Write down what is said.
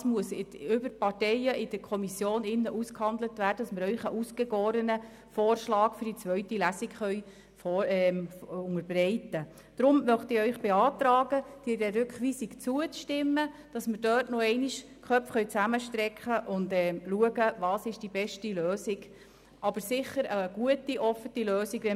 Das muss über die Parteien in der Kommission ausgehandelt und die beste Lösung gesucht werden, damit wir Ihnen einen ausgegorenen Vorschlag für die zweite Lesung unterbreiten können.